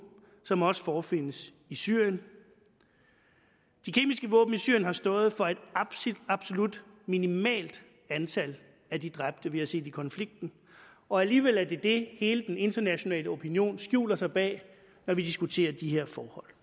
som også forefindes i syrien de kemiske våben i syrien har stået for et absolut minimalt antal af de dræbte vi har set i konflikten og alligevel er det det hele den internationale opinion skjuler sig bag når vi diskuterer de her forhold